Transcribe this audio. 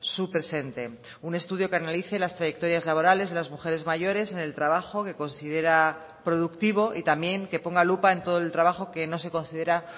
su presente un estudio que analice las trayectorias laborales de las mujeres mayores en el trabajo que considera productivo y también que ponga lupa en todo el trabajo que no se considera